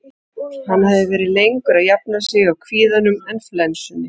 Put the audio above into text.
Hann hafði verið lengur að jafna sig á kvíðanum en flensunni.